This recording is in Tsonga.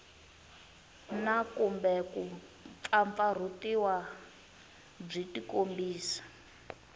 na kumbe kumpfampfarhutiwa byi tikombisa